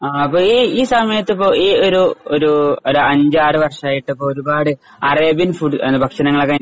അഹ് അപ്പോ ഈ ഈ സമയത്ത് ഇപ്പം ഈയൊരു ഒരു ഒരു അഞ്ചാറു വർഷമായിട്ട് ഇപ്പം ഒരുപാട് അറേബ്യൻ ഫുഡ് ഭക്ഷണങ്ങളൊക്കെ